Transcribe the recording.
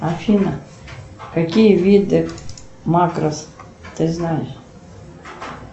афина какие виды макрос ты знаешь